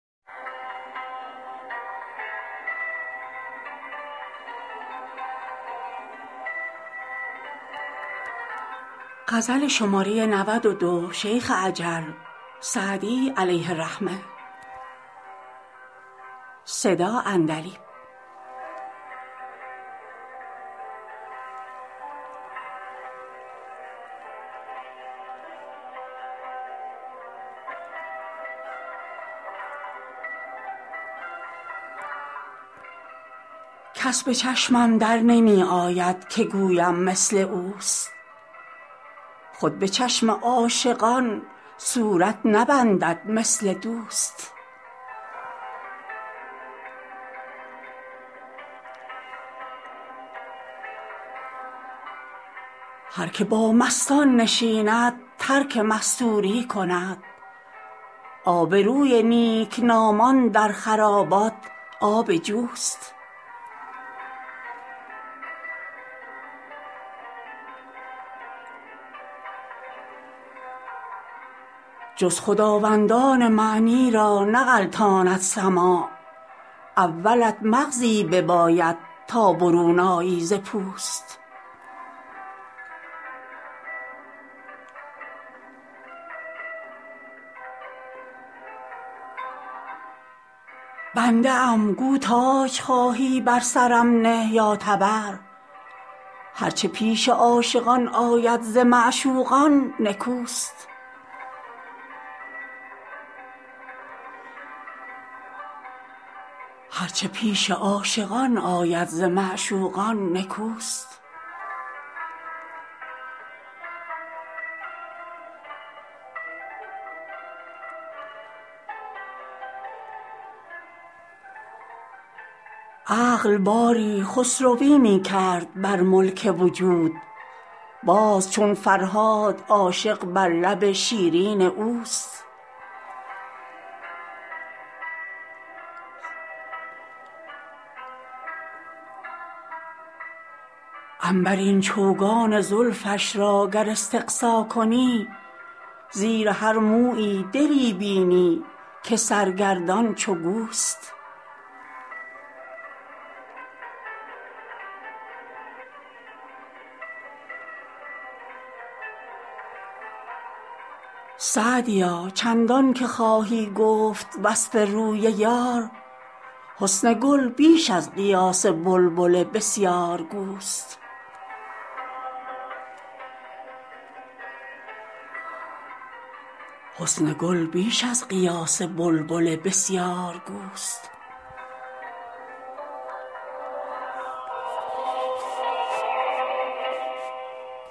کس به چشمم در نمی آید که گویم مثل اوست خود به چشم عاشقان صورت نبندد مثل دوست هر که با مستان نشیند ترک مستوری کند آبروی نیکنامان در خرابات آب جوست جز خداوندان معنی را نغلطاند سماع اولت مغزی بباید تا برون آیی ز پوست بنده ام گو تاج خواهی بر سرم نه یا تبر هر چه پیش عاشقان آید ز معشوقان نکوست عقل باری خسروی می کرد بر ملک وجود باز چون فرهاد عاشق بر لب شیرین اوست عنبرین چوگان زلفش را گر استقصا کنی زیر هر مویی دلی بینی که سرگردان چو گوست سعدیا چندان که خواهی گفت وصف روی یار حسن گل بیش از قیاس بلبل بسیارگوست